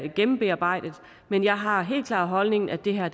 gennembearbejdet men jeg har den helt klare holdning at det her